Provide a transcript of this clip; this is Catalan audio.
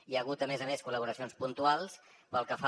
i hi ha hagut a més a més col·laboracions puntuals pel que fa